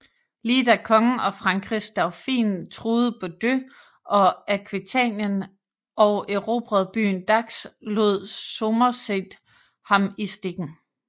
Lige da kongen og Frankrigs dauphin truede Bordeaux og Aquitanien og erobrede byen Dax lod Somerset ham i stikken